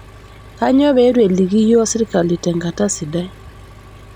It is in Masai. Kainyoo pee eitu eliki yiook sirkali tenkata sidai?